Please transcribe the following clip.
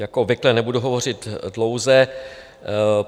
Jako obvykle nebudu hovořit dlouze.